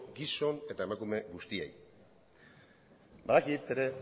gizon eta emakume guztiei badakit ere